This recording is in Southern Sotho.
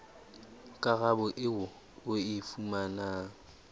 karabo eo o e fumanang